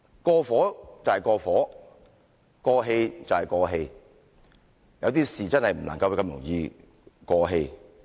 "過火"，就是"過火"；"過氣"，就是"過氣"，有些事情真的不會這麼容易過氣。